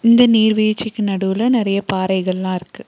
இந்த நீர்வீழ்ச்சிக்கு நடுவுல நறைய பாறைகள்ளா இருக்கு.